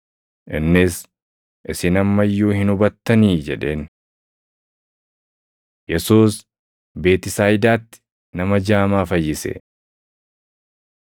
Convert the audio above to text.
Innis, “Isin amma iyyuu hin hubattanii?” jedheen. Yesuus Beetisayidaatti Nama Jaamaa Fayyise